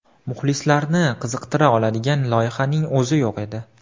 Muxlislarni qiziqtira oladigan loyihaning o‘zi yo‘q edi.